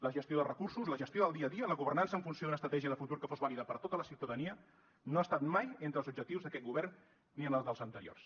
la gestió dels recursos la gestió del dia a dia la governança en funció d’una estratègia de futur que fos vàlida per a tota la ciutadania no ha estat mai entre els objectius d’aquest govern ni en el dels anteriors